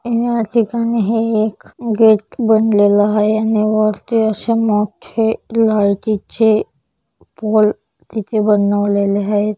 या ठिकाणी हे एक गेट बनलेलं आहे आणि वरती असे मोठा लाइटि चे पोल तिथे बनवलेले आहेत.